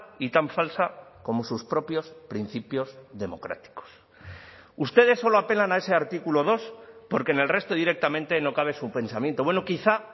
y tan falsa como sus propios principios democráticos ustedes solo apelan a ese artículo dos porque en el resto directamente no cabe su pensamiento bueno quizá